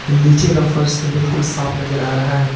नीचे का फर्श से बिल्कुल साफ नजर आ रहा है।